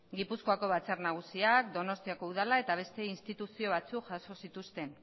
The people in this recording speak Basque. gipuzkoako batzar nagusiak donostiako udalak eta beste instituzio batzuk jaso zituzten